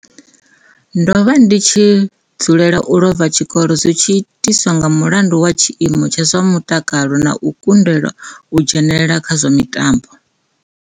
Ndo vha ndi tshi dzulela u lova tshikolo zwi tshi itiswa nga mulandu wa tshiimo tsha zwa mutaka lo na u kundelwa u dzhenela kha zwa mitambo.